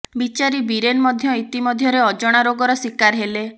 ବିଚାରୀ ବୀରେନ ମଧ୍ୟ ଇତିମଧ୍ୟରେ ଅଜଣା ରୋଗର ଶିକାର ହେଲେ